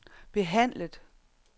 behandlet